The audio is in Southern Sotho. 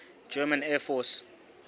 german air force